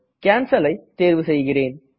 Cancelஐ தேர்வு செய்கிறேன்